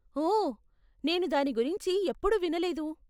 ఓ, నేను దాని గురించి ఎప్పుడూ వినలేదు.